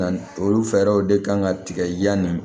Na olu fɛɛrɛw de kan ka tigɛ yani